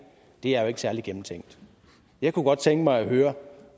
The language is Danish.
det er jo ikke særlig gennemtænkt jeg kunne godt tænke mig at høre